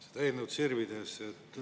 Seda eelnõu sirvides küsin.